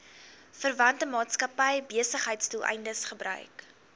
verwante maatskappybesigheidsdoeleindes gebruik